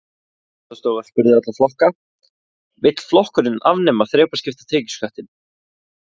Fréttastofa spurði alla flokka: Vill flokkurinn afnema þrepaskipta tekjuskattinn?